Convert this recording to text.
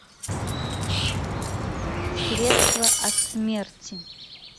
средство от смерти